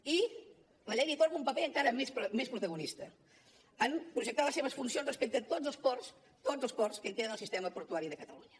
i la llei li atorga un paper encara més protagonista en projectar les seves funcions respecte a tots els ports tots els ports que integren el sistema portuari de catalunya